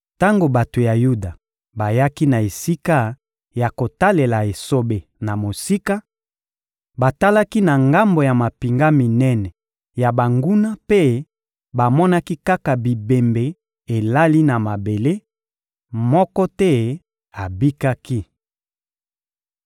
Tango bato ya Yuda bayaki na esika ya kotalela esobe na mosika, batalaki na ngambo ya mampinga minene ya banguna mpe bamonaki kaka bibembe elali na mabele: moko te abikaki.